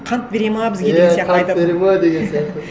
қант береді ме бізге деген сияқты иә қант береді ме деген сияқты